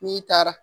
N'i taara